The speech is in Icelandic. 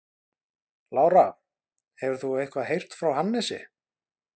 Lára: Hefur þú eitthvað heyrt frá Hannesi?